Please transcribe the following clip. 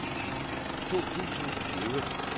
to tusind og tyve